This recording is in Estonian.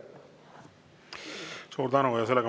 Suur tänu!